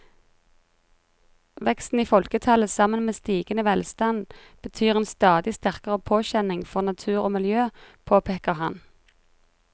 Veksten i folketallet sammen med stigende velstand betyr en stadig sterkere påkjenning for natur og miljø, påpeker han.